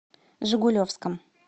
жигулевском